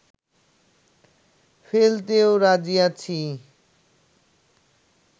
ফেলতেও রাজি আছি